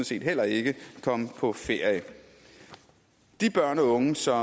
set heller ikke komme på ferie de børn og unge som